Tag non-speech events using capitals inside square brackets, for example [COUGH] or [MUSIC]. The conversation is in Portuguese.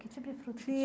Que tipo de [UNINTELLIGIBLE]